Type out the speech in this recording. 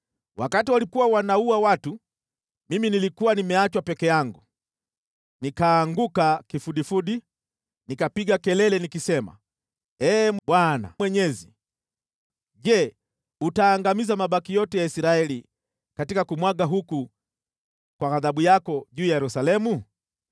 Wakati walikuwa wakiwaua watu, nami nilikuwa nimeachwa peke yangu, nikaanguka kifudifudi, nikapiga kelele nikisema, “Ee Bwana Mwenyezi! Je, utaangamiza mabaki yote ya Israeli, katika kumwagwa huku kwa ghadhabu yako juu ya Yerusalemu?”